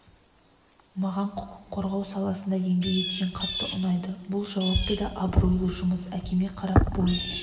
маған құқық қорғау саласында еңбек еткен қатты ұнайды бұл жауапты да абыройлы жұмыс әкеме қарап бой